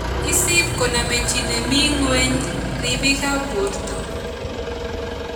Isiip koname chi neming�weny riibiikab borto